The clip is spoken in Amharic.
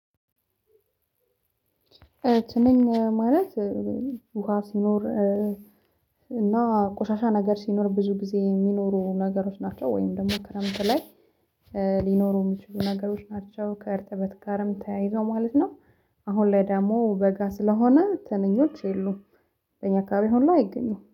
ትንኝ ማለት ውሃ ሲኖር እና ቆሻሻ ነገር ሲኖር ብዙ ጊዜ የሚኖሩ ነገሮች ናቸው ወይም ደግሞ ክረምት ላይ ሊኖሩ የሚችሉ ነገሮች ናቸው። ከእርጥበት ጋርም ተያይዞ ማለት ነው። አሁን ላይ ደግሞ በጋ ስለሆነ ትንኞች የሉም። እኛ አከባቢ አሁን ላይ አይገኙም